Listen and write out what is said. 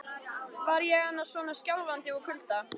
Var ég annars svona skjálfandi úr kulda?